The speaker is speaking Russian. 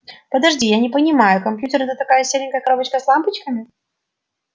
подожди не понимаю я компьютер это такая серенькая коробочка с лампочками